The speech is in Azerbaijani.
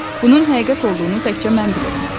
Bunun həqiqət olduğunu təkcə mən bilirəm.